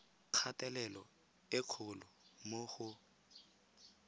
kgatelelo e kgolo mo go